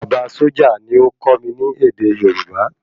Bàbá sójà ni ó kó mi ní èdè Yorùbá